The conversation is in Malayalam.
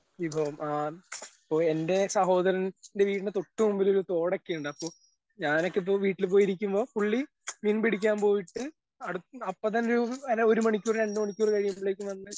വിഭവം ആ ഇപ്പൊ എന്റെ സഹോദരൻ ന്റെ വീടിന്റെ തൊട്ട് മുമ്പിലൊരു തോടൊക്കെയുണ്ട് അപ്പൊ ഞാനൊക്കെ ഇപ്പൊ വീട്ടിൽ പോയിരിക്കുമ്പോ പുള്ളി മീൻ പിടിക്കാൻ പോയിട്ട് അടുത്തിന്ന് ഒരു മണിക്കൂറ് രണ്ട് മണിക്കൂറ് കഴിയുമ്പളേക്കും വന്ന്.